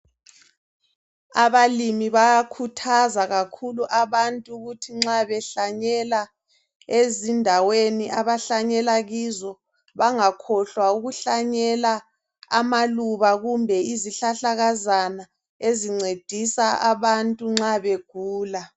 Abalimi bayakhuthaza kakhulu abantu ukuthi nxa behlanyela ezindaweni abahlanyela kizo bangakhohlwa ukuhlanyela amaluba kumbe izihlahlahlakazana ezincedisa abantu nxa begula.